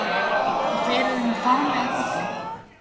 Og þeir eru með farm af fugli.